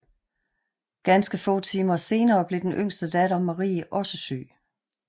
Ganske få timer senere blev den yngste datter Marie også syg